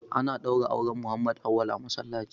Ana ɗaura auren Muhammad Auwal a masallaci.